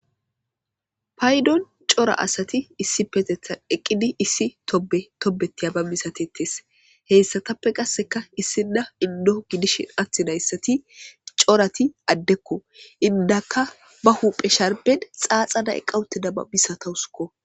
Paydon cora asati issi petetan eqqidi issi tobe tobetiya ba misatetes heyssatappe qasseka issida indoo gidishin attinayssati corati addekko indaka ba huphe sharben xaaxana eqqawute dababisatawusukko.